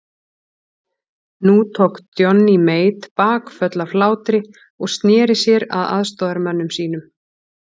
Nú tók Johnny Mate bakföll af hlátri og sneri sér að aðstoðarmönnum sínum.